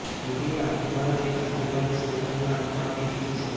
મોદીએ આખું ભારત એક આતંકવાદી સંગઠનના હાથમાં આપી દીધું છે